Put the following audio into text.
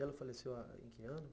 E ela faleceu ah ano?